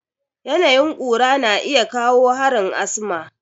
Yanayin ƙura na iya kawo harin asma.